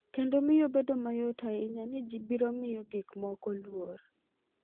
Kendo miyo bedo mayot ahinya ni ji biro miyo gik moko luor.